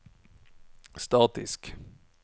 statisk